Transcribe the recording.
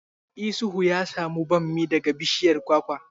Isuhu ya samu bammi daga bishiyar kwakwa?